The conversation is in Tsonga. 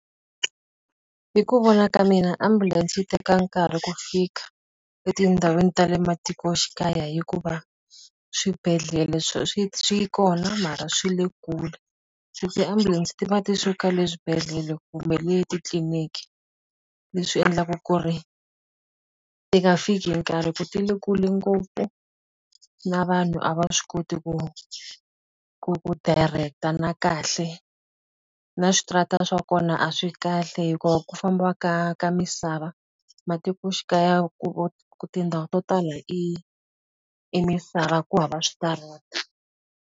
Hi ku vona ka mina ambulense yi teka nkarhi ku fika etindhawini ta le matikoxikaya hikuva, swibedhlele swi swi swi kona mara swi le kule. Se ti-ambulance ti va ti suka le swibedhlele kumbe le titliniki, leswi endlaku ku ri a ndzi nga fiki hi nkarhi hikuva ti le kule ngopfu na vanhu a va swi koti ku ku ku direct-a na kahle. Na switarata swa kona a swi kahle hikuva ku famba ka ka misava, matikoxikaya ku tindhawu to tala i i misava ku hava switarata.